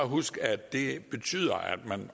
huske at det betyder at man